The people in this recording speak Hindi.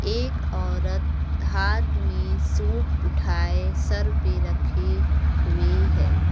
एक औरत हाथ में सूप उठाए सर पे रखी हुई है।